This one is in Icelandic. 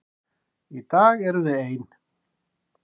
Í dag erum við ein.